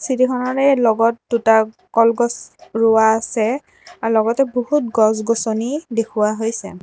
চিৰিখনৰে লগত দুটা কলগছ ৰোৱা আছে আ লগতে বহুত গছ-গছনি দেখুওৱা হৈছে।